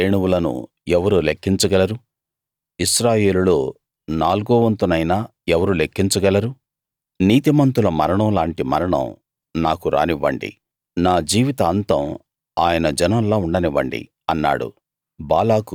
యాకోబు రేణువులను ఎవరు లెక్కించ గలరు ఇశ్రాయేలులో నాల్గోవంతునైనా ఎవరు లేక్కించ గలరు నీతిమంతుల మరణం లాంటి మరణం నాకు రానివ్వండి నా జీవిత అంతం ఆయన జనంలా ఉండనివ్వండి అన్నాడు